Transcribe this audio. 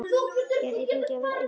Gæti ég fengið að vera einn?